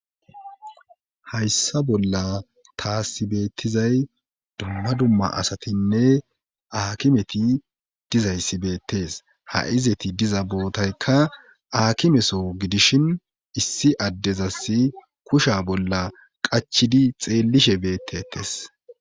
hayssa bolla taasibettizay dumma dumma asatinne aakimeti dizayssibeettes ha7izeti diza bootaykka aakimeso gidishin issi addezassi kusha bolla qachidi xeellishe beettettes